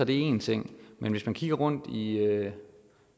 en ting men hvis man kigger rundt i